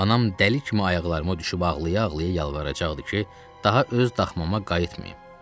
Anam dəli kimi ayaqlarıma düşüb ağlaya-ağlaya yalvaracaqdı ki, daha öz daxmama qayıtmayım.